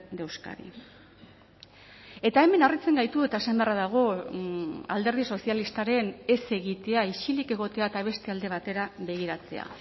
de euskadi eta hemen harritzen gaitu eta esan beharra dago alderdi sozialistaren ez egitea isilik egotea eta beste alde batera begiratzea